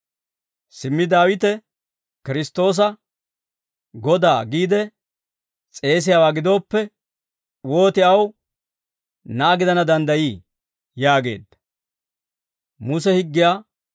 «Simmi Daawite Kiristtoosa, ‹Godaa›, giide s'eesiyaawaa gidooppe, wooti aw na'aa gidana danddayii?» yaageedda.